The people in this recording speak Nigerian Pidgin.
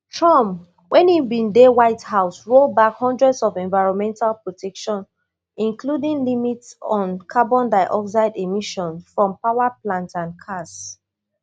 trump wen im bin dey white house roll back hundreds of environmental protections including limits on carbon dioxide emissions from power plants and cars